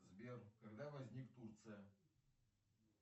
сбер когда возник турция